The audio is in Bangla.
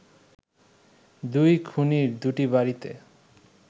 দুই খুনির দুটি বাড়িতে